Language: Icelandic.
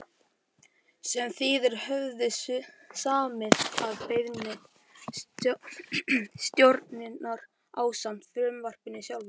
sem þeir höfðu samið að beiðni stjórnarinnar ásamt frumvarpinu sjálfu.